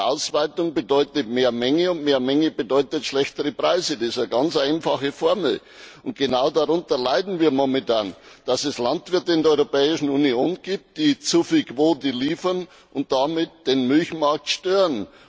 Quotenausweitung bedeutet mehr Menge, und mehr Menge bedeutet schlechtere Preise. Das ist eine ganz einfache Formel. Genau darunter leiden wir momentan, dass es Landwirte in der Europäischen Union gibt, die zu viel Quote liefern und damit den Milchmarkt stören.